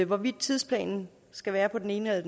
hvorvidt tidsplanen skal være på den ene eller